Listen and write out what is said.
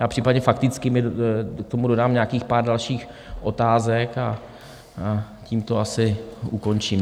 Já případně faktickými k tomu dodám nějakých pár dalších otázek a tím to asi ukončím.